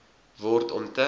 word om te